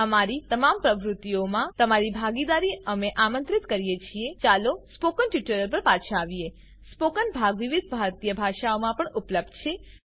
અમારી તમામ પ્રવૃત્તિઓમાં તમારી ભાગીદારી અમે આમંત્રિત કરીએ છીએ ચાલો સ્પોકન ટ્યુટોરીયલ પર પાછા આવીએ સ્પોકન ભાગ વિવિધ ભારતીય ભાષાઓમાં પણ ઉપલબ્ધ રહેશે